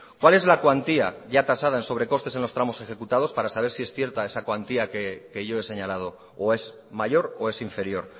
cuál es la cuantía ya tasada en sobre costes en los tramos ejecutados para saber si es cierta esa cuantía que yo he señalado o es mayor o es inferior